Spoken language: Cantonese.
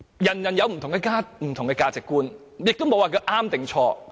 各人有不同的價值觀，亦沒有對與錯。